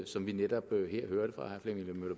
som vi netop her hørte fra herre flemming møller